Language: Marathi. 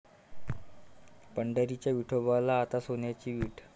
पंढरीच्या विठोबाला आता सोन्याची वीट!